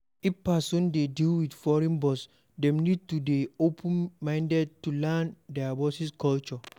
If person dey deal with foreign boss dem need to dey open minded to learn their boss culture